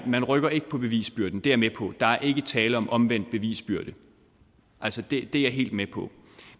man rykker ikke på bevisbyrden det er jeg med på der er ikke tale om omvendt bevisbyrde altså det er jeg helt med på